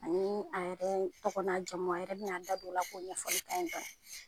Ani a yɛrɛ tɔgɔ n'a jama . A yɛrɛ bi na da don o la ka ɲɛfɔ an ye dɔnni.